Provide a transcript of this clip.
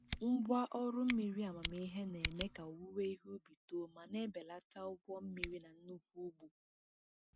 Ngwa ọrụ mmiri amamihe na-eme ka owuwe ihe ubi too ma na-ebelata ụgwọ mmiri na nnukwu ugbo.